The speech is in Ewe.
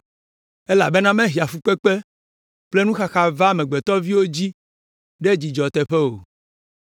Elabena mehea fukpekpe kple nuxaxa vaa amegbetɔviwo dzi ɖe dzidzɔ teƒe o.